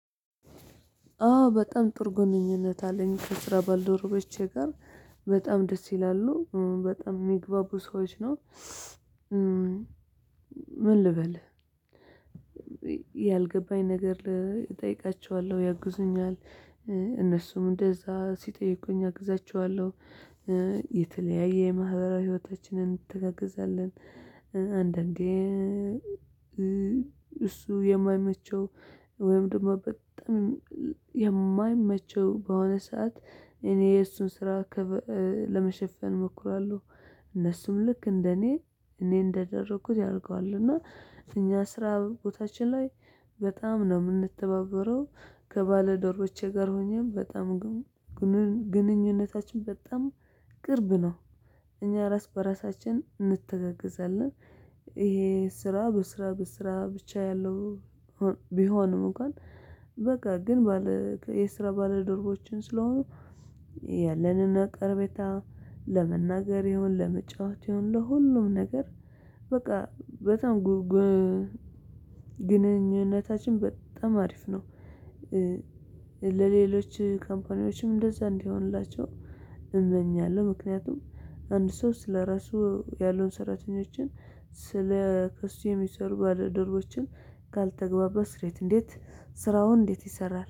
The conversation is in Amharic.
አዎ በጣም ጥሩ ጉንኝነት አለኝ ከስራ ባልደረቦቼ ጋር በጣም ደስ ይላሉ በጣም የሚግባቡ ሰዎች ነው። ምን ልበል ያልገባኝ ነገር እጠይቃቸዋለሁ ያግዙኛል እነሱም እንደዛ ሲጠይቁኝ አግዛቸዋለሁ። የተለያየ የማህበራዊ ህይወታችንን እንተጋገዛለን አንዳንዴ እሱ የማይመቸው ወይም ደግሞ በጣም የማይመቸው በሆነ ሰዓት እኔ የእሱን ስራ ለመሸፈን እሞክራለሁ። እነሱም ልክ እንደኔ እኔ እንዳደረኩት ያደርገዋል እና እኛ ስራ ቦታችን ላይ በጣም ነው የምንተባበረው ከባለዶሮቼ ጋር ሆኜም በጣም ግንኙነታችን በጣም ቅርብ ነው። እኛ ራስ በራሳችን እንተጋገዛለን ይሄ ስራ በስራ በስራ ብቻ ያለው ቢሆንም እንኳን በቃ ግን ባለ የስራ ባለደርቦችን ስለሆኑ ያለንን አቅርቤታ ለመናገር ይሁን ለመጫወት ይሁን ለሁሉም ነገር በቃ በጣም ግንኙነታችን በጣም አሪፍ ነው። ለሌሎች ካምፓኒዎችም እንደዛ እንዲሆንላቸው እመኛለሁ ምክንያቱም አንድ ሶስት ለራሱ ያሉን ሰራተኞችን ስለ ከሱ የምሰሩትን ባልደርቦችን ካልተግባባት ስራው እንዴት? ስራው እንዴት ይሰራል